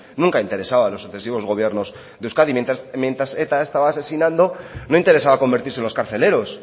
nunca ha interesada a los sucesivos gobiernos de euskadi mientras eta estaba asesinando no interesaba convertirse en los carceleros